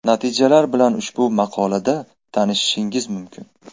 Natijalar bilan ushbu maqola da tanishishingiz mumkin.